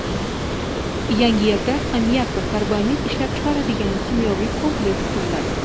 Yangiyerda ammiak va karbamid ishlab chiqaradigan kimyoviy kompleks quriladi.